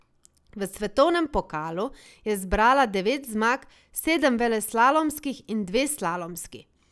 V svetovnem pokalu je zbrala devet zmag, sedem veleslalomskih in dve slalomski.